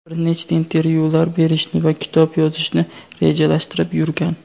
bir nechta intervyular berishni va kitob yozishni rejalashtirib yurgan.